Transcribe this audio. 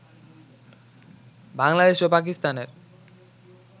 বাংলাদেশ ও পাকিস্তানের